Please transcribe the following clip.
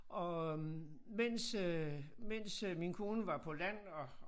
Og øh mens øh mens øh min kone var på land og